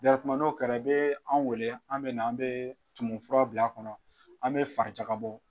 no kɛra i bɛ an wele an bɛ na an bɛ tumu fura bila a kɔnɔ an bɛ fari jaka bɔ.